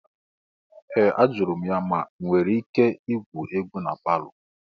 Ee! Ajụrụ m ya ma enwere m ike igwu egwu na palọ.